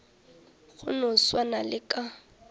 go no swana le ka